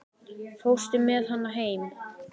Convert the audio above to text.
Fórstu með hana heim?